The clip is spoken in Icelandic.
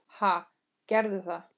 Ha, gerðu það.